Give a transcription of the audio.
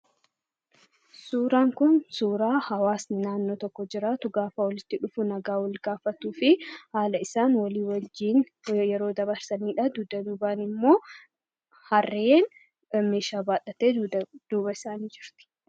Suuraan kun suuraa hawaasni naannoo tokko jiraatu gaafa walitti dhiyaatuu fi haala isaa walii wajjin yeroo dabarsanidha. Inni biraan immoo harreen mi'a baadhatee dudduuba isaanii jira.